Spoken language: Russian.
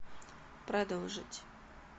продолжить